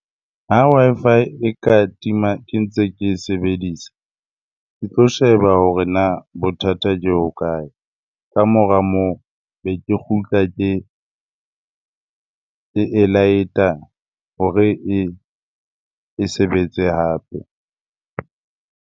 Ha Wi-Fi e ka tima ke ntse ke e sebedisa, ke tlo sheba hore na bothata ke hokae? Kamora moo, be ke kgutla ke e light-a hore e sebetse hape.